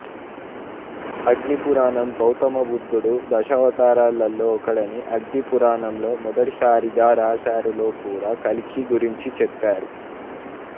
అగ్ని పురాణం గౌతమ బుద్ధుడు దశావతారాలలో ఒకడని అగ్నిపురాణంలో మొదటిసారిగా వ్రాశారు లో కూడా కల్కి గురించి చెప్పారు